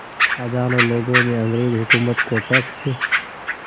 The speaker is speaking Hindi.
हज़ारों लोगों ने अंग्रेज़ हुकूमत को टैक्स